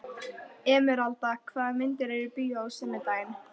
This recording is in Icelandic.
Emeralda, hvaða myndir eru í bíó á sunnudaginn?